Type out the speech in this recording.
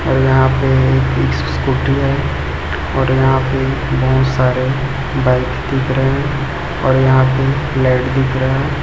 और यहाँ पे स्कूटी है और यहाँ पे बहोत सारे बाइक दिख रहे है और यहाँ पे लाइट दिख रहा --